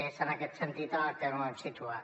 és en aquest sentit en el que ho hem situat